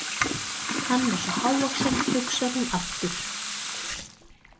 Hann er svo hávaxinn, hugsar hún aftur.